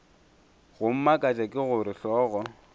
go mmakatša ke gore hlogo